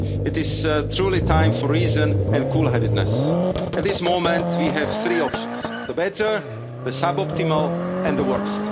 time to lose. It is truly time for reason and cool headedness. At this moment we have three options the better, the suboptimal